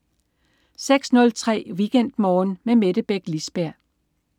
06.03 WeekendMorgen med Mette Beck Lisberg